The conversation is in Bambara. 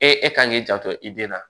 E e kan k'i janto i den na